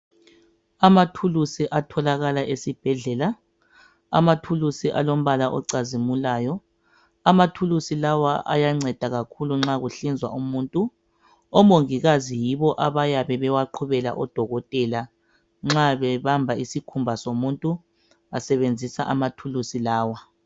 Amathulusi atholakala esibhedlela amathulusi alombala ocazimulayo amathulusi lawa ayanceda kakhulu nxa kuhlinzwa umuntu omongikazi yibo abayabe bewaqhubela odokotela nxa bebamba isikhumba somuntu basebenzisa amathulusi lawa.